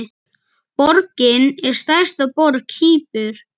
Borgin er stærsta borg Kýpur.